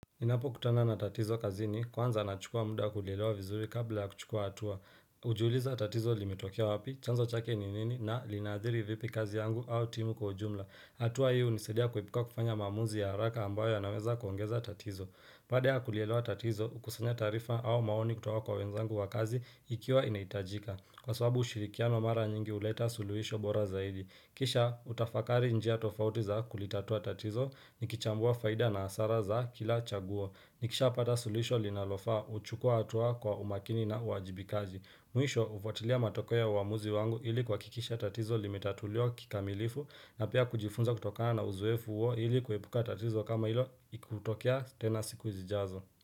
Ninapokutana na tatizo kazini kwanza nachukua muda kulielewa vizuri kabla ya kuchukua hatua. Hujiuliza tatizo limetokea wapi, chanzo chake ni nini na linaadhiri vipi kazi yangu au timu kwa jumla. Hatua hio hunisaidia kuepuka kufanya maamuzi ya haraka ambayo yanaweza kuongeza tatizo. Baada ya kulielewa tatizo, kusanya taarifa au maoni kutoka kwa wenzangu wa kazi ikiwa inahitajika. Kwa sababu ushirikiano mara nyingi huleta suluhisho bora zaidi. Kisha, utafakari njia tofauti za kulitatua tatizo, nikichambua faida na hasara za kila chaguo. Nikishapata suluhisho linalofaa, huchukua hatua kwa umakini na uwajibikaji. Mwisho, hufuatilia matokeo ya uamuzi wangu ili kuhakikisha tatizo limetatuliwa kikamilifu na pia kujifunza kutokana na uzoefu huo ili kuepuka tatizo kama hilo ikikutokea tena siku zijazo.